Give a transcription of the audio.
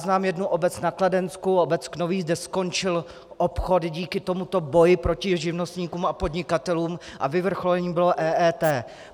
Znám jednu obec na Kladensku, obec Knovíz, kde skončil obchod díky tomuto boji proti živnostníkům a podnikatelům a vyvrcholením bylo EET.